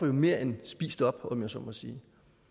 mere end spist op om jeg så må sige